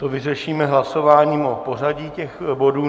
To vyřešíme hlasováním o pořadí těch bodů.